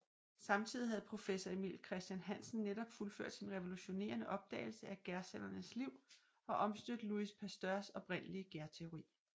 Samtidig havde professor Emil Christian Hansen netop fuldført sin revolutionerende opdagelse af gærcellernes liv og omstødt Louis Pasteurs oprindelige gærteori